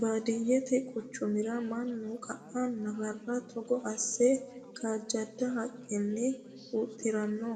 Baadiyete quchumara mannu qae nafara togo asse kaajjada haqqinni huxxirano